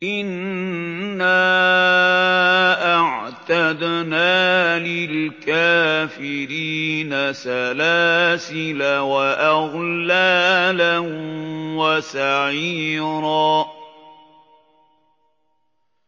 إِنَّا أَعْتَدْنَا لِلْكَافِرِينَ سَلَاسِلَ وَأَغْلَالًا وَسَعِيرًا